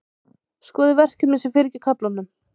Skoðið verkefnin sem fylgja kaflanum.